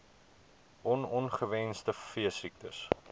on ongewenste veesiektes